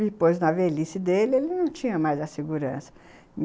Depois, na velhice dele, ele não tinha mais a segurança.